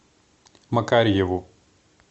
макарьеву